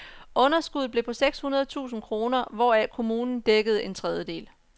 Underskuddet blev på seks hundrede tusind kroner, hvoraf kommunen dækkede en tredjedel.